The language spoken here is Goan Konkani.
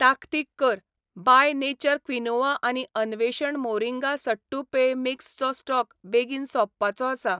ताकतीक कर, बाय नेचर क्विनोआ आनी अन्वेषण मोरिंगा सट्टू पेय मिक्स चो स्टॉक बेगीन सोंपपाचो आसा.